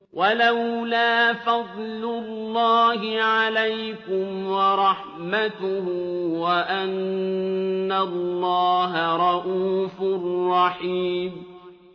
وَلَوْلَا فَضْلُ اللَّهِ عَلَيْكُمْ وَرَحْمَتُهُ وَأَنَّ اللَّهَ رَءُوفٌ رَّحِيمٌ